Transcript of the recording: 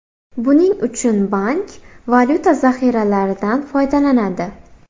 Buning uchun bank valyuta zaxiralaridan foydalanadi.